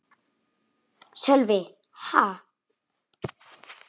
Sölvi: Ha?